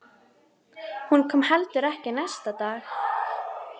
Hún kom heldur ekki næsta dag.